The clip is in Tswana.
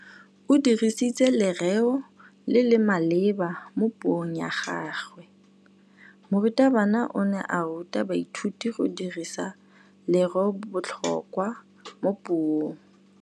O dirisitse lerêo le le maleba mo puông ya gagwe. Morutabana o ne a ruta baithuti go dirisa lêrêôbotlhôkwa mo puong.